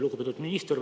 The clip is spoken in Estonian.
Lugupeetud minister!